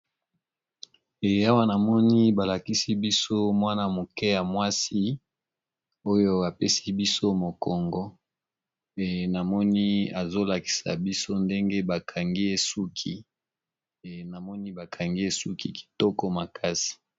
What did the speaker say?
Eya wanamoni balakisi biso mwana moke ya mwasi oyo apesi biso mokongo eamoni azolakisa biso ndenge namoni bakangi esuki kitoko makasi.